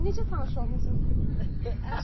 Necə tanış olmusunuz?